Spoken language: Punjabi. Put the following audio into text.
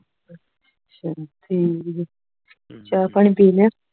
ਅੱਛਾ ਠੀਕ ਜੇ ਚਾਅ ਪਾਣੀ ਪੀ ਲਿਆ